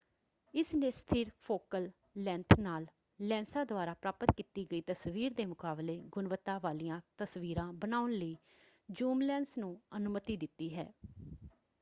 ਇਸਨੇ ਸਥਿਰ focal length ਨਾਲ ਲੈਂਸਾਂ ਦੁਆਰਾ ਪ੍ਰਾਪਤ ਕੀਤੀ ਗਈ ਤਸਵੀਰ ਦੇ ਮੁਕਾਬਲੇ ਗੁਣਵੱਤਾ ਵਾਲੀਆਂ ਤਸਵੀਰਾਂ ਬਣਾਉਣ ਲਈ ਜ਼ੂਮ ਲੈਂਸ ਨੂੰ ਅਨੁਮਤੀ ਦਿੱਤੀ ਹੈ।